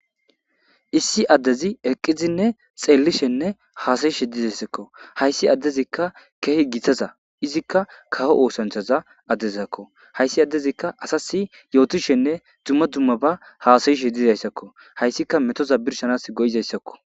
Issi adezi eqidinne xeelishenne xelishe dizesko, haysi adezika Keehi gitaza , izika kawo osanchaza adezako, haysi adezika asasi yootishenne dumma dumma hasa'ashe dizaysako, haysika metoza birshanasi go'izaysako.